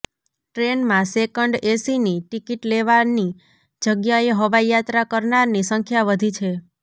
ટ્રેનમાં સેકન્ડ એસીની ટીકિટ લેવાની જગ્યાએ હવાઈ યાત્રા કરનારની સંખ્યા વધી છે